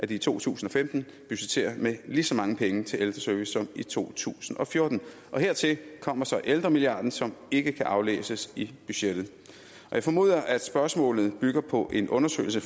i to tusind og femten budgetterer med lige så mange penge til ældreservice som i to tusind og fjorten hertil kommer så ældremilliarden som ikke kan aflæses i budgettet jeg formoder at spørgsmålet bygger på en undersøgelse